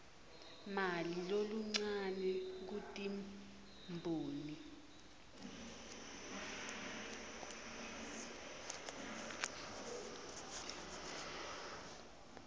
mali loluncane kutimboni